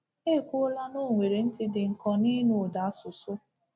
E kwuola na o nwere ntị dị nkọ n’ịnụ ụda asụsụ.